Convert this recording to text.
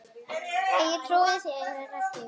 Nei, ég trúi þér ekki.